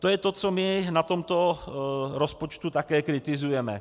To je to, co my na tomto rozpočtu také kritizujeme.